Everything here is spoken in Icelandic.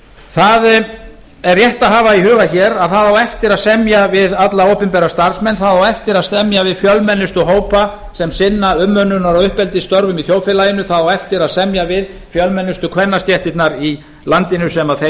það er rétt að hafa í huga hér að það á eftir að semja við alla opinbera starfsmenn það á eftir að semja við fjölmennustu hópa sem sinna umönnunar og uppeldisstörfum í þjóðfélaginu það á eftir að semja við fjölmennustu kvennastéttirnar í landinu sem þeim